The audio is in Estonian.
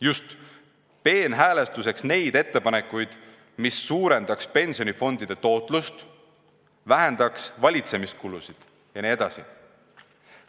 Just, nimetas peenhäälestuseks neid ettepanekuid, mis suurendaks pensionifondide tootlust, vähendaks valitsemiskulusid jne.